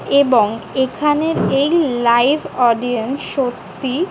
এবং এখানে এই লাইভ অডিয়েন্স সত্যি--